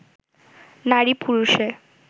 নারী পুরুষে